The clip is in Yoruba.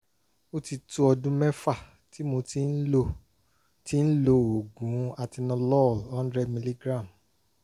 ó ti tó ọdún mẹ́fà tí mo ti ń lo ti ń lo oògùn atenolol hundred miligram